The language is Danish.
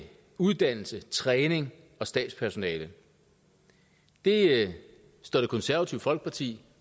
uddannelse træning og stabspersonale det det står det konservative folkeparti